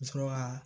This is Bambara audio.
Sɔrɔ ka